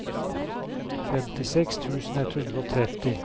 femtiseks tusen ett hundre og tretti